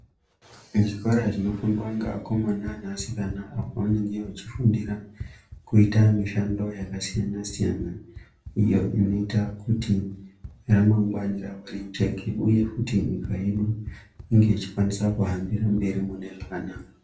Zvikora zvinofundwa ngeakomana neasikana apo vanenge vachifundira kuita mishando yakasiyana-siyana iyo inoita kuti ramangwani ravo rijeke uye futi kuti nyika inge ichikwanisa kuhambira mberi mune zvakanaka.